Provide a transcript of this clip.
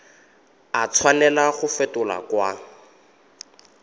a tshwanela go fetolwa kwa